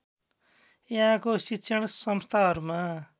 यहाँको शिक्षण संस्थाहरूमा